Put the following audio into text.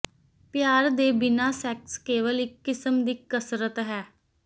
ਪਿਆਰ ਦੇ ਬਿਨਾਂ ਸੈਕਸ ਕੇਵਲ ਇੱਕ ਕਿਸਮ ਦੀ ਕਸਰਤ ਹੈ